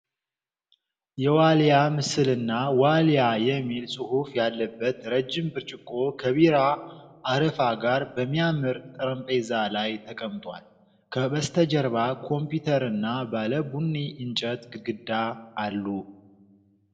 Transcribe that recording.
የዋልያ ምስልና "ዋሊያ" የሚል ጽሑፍ ያለበት ረጅም ብርጭቆ ከቢራ አረፋ ጋር በሚያምር ጠረጴዛ ላይ የቀምጧል። ከበስተጀርባ ኮምፒዩተርና ባለ ቡኒ እንጨት ግድግዳ አሉ።